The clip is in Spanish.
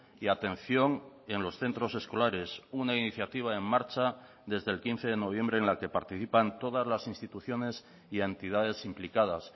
y atención en los centros escolares una iniciativa en marcha desde el quince de noviembre en la que participan todas las instituciones y entidades implicadas